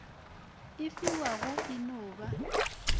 e fiwago e no ba